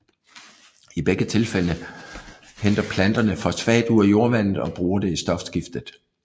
I begge tilfælde henter planterne fosfat ud af jordvandet og bruger det i stofskiftet